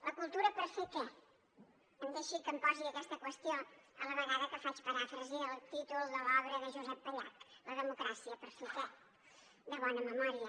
la cultura per fer què em deixi que em posi aquesta qüestió a la vegada que faig paràfrasi del títol de l’obra de josep pallach la democràcia per fer què de bona memòria